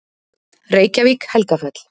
Reykjavík: Helgafell.